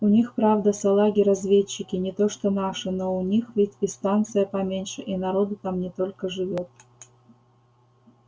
у них правда салаги разведчики не то что наши но у них ведь и станция поменьше и народу там не только живёт